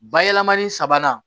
Bayɛlɛmani sabanan